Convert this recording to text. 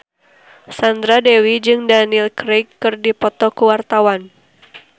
Sandra Dewi jeung Daniel Craig keur dipoto ku wartawan